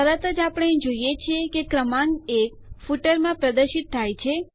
તરત જ આપણે જોઈએ છીએ કે ક્રમાંક 1 ફૂટરમાં પ્રદર્શિત થાય છે